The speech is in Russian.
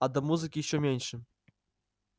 а до музыки ещё меньше